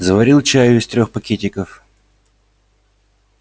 заварил чаю из трёх пакетиков